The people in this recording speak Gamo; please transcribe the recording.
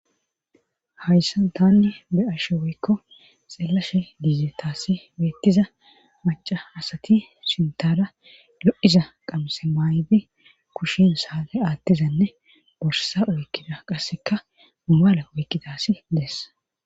hayssa tanni be ashe woykko xellashe diizetassi beettiza maca asati sintada lo7iza qamse maayydi kushin saate aattizanne borsa oykkida qasseka mumaala oykkidasi dees